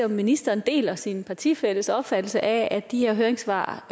ministeren deler sin partifælles opfattelse af at de her høringssvar